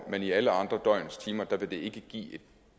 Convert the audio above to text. men i alle andre af døgnets timer vil det ikke give et